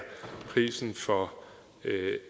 prisen for